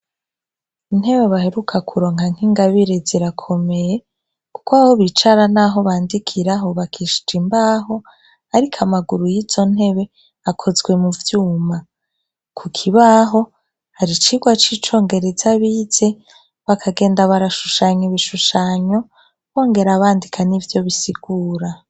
Intebe baheruka kuronka nkingabire zirakomeye kuko aho bicara naho bandikira hubakishije imbaho ariko amaguru yizontebe akozwe muvyuma kukibaho hari icirwa cicongereza bize bakagenda barashushanya ibishushanyo bongera bandika nivyo bisigura